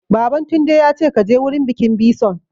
Baban Tunde ya ce 'Ka je wurin bikin bison'!